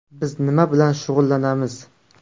Biz nima bilan shug‘ullanamiz?